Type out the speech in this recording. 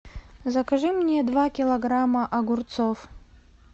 закажи мне два килограмма огурцов